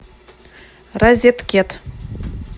розеткет